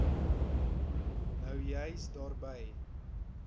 nou juis daarby